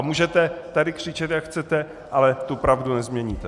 A můžete tady křičet, jak chcete, ale tu pravdu nezměníte.